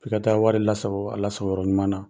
Ki ka taa wari lasago ala sago yɔrɔ ɲuman na